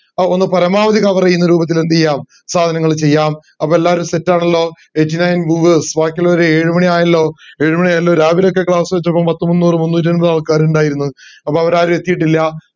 അഹ് ഒന്ന് പരമാവധി cover ചെയ്ന്ന രൂപത്തിൽ എന്ത് ചെയ്യാം സാധനങ്ങൾ ചെയ്യാം അപ്പൊ എല്ലാരും set ആണല്ലോ എജിന and ഗൂഗസ് ഭാക്കി എല്ലാരും ഏഴുമണിയായല്ലോ ഏഴുമണിയായല്ലോ രാവിലെ ഒക്കെ class വച്ചപ്പോ പത്തു മുന്നൂറ് മുന്നൂറ്റമ്പത്‌ ആൾക്കാര് ഇണ്ടായിരുന്ന് അപ്പൊ അവരാരും എത്തീട്ടില്ല